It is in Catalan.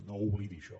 no ho oblidi això